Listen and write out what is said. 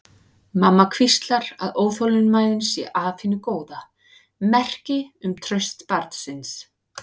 Mamma hvíslar að óþolinmæðin sé af hinu góða, merki um traust barnsins.